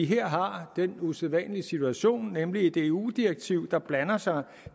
her har den usædvanlige situation nemlig et eu direktiv der blander sig